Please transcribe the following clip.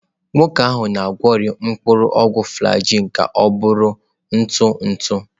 Nwoke ahụ na-egweri mpuru ogwu flajil ka ọ bụrụ ntụ ntụ.